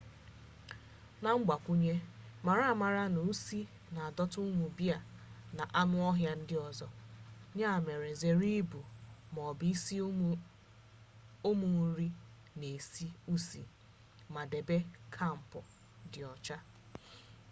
na mgbakwunye mara amara na usi na adọta ụmụ bea na anụ ọhịa ndị ọzọ ya mere zere ibu ma ọ bụ isi ụmụ nri na-esi usi ma debe kampụ dị ọcha